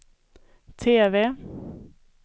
TV